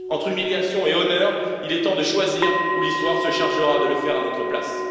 Entre humiliation et honneur, il est temps de choisir, ou l'histoire se chargera de le faire à notre place.